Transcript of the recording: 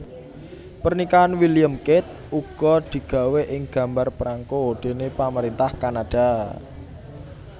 Pernikahan William Kate uga digawé ing gambar prangko déné pamaréntah Kanada